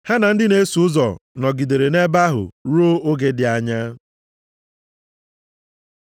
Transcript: Ha na ndị na-eso ụzọ nọgidere nʼebe ahụ ruo oge dị anya.